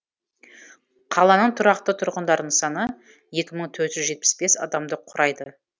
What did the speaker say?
қаланың тұрақты тұрғындарының саны екі мың төрт жүз жетпіс бес адамды құрайды